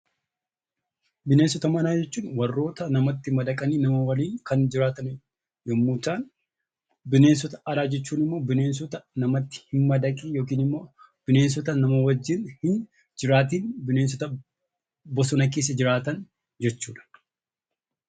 Bineensota manaa jechuun warroota namatti madaqanii nama waliin kan jiraatan yommuu ta'an, bineensota alaa jechuun immoo bineensota namatti hin madaqiin yookiin immoo bineensota nama waliin hin jiraatiin; bosona keessa jiraatan jechuudha.